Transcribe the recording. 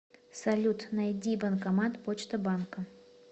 салют найди банкомат почта банка